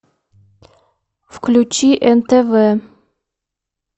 включи нтв